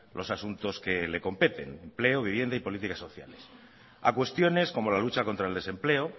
los asuntos que le competen empleo vivienda y políticas sociales a cuestiones como la lucha contra el desempleo